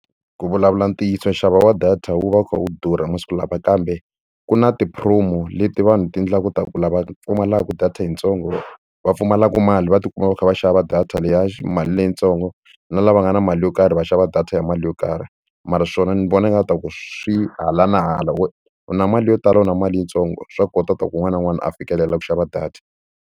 Ku vulavula ntiyiso nxavo wa data wu va wu kha wu durha masiku lawa kambe ku na ti-promo leti vanhu ti endlaku ku lava ku data yitsongo va pfumalaka mali va ti kuma va kha va xava data leyi ya mali leyitsongo na lava nga na mali yo karhi va xava data ya mali yo karhi mara swona ni vona nga ku swi hala na hala wo u na mali yo tala u na mali yintsongo swa kotaka ta ku un'wana na un'wana a fikelela ku xava data.